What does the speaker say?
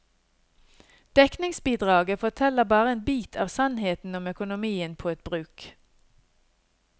Dekningsbidraget forteller bare en bit av sannheten om økonomien på et bruk.